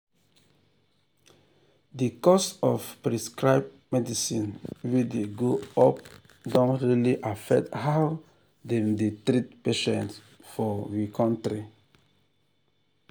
the cost of prescribed medicine wey dey go up don really affect how dem dey treat patients for we kontry.